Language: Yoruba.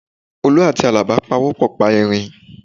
Olú àti Àlàbá pawọ́pọ̀ pa erin